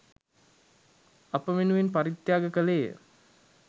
අප වෙනුවෙන් පරිත්‍යාග කළේය.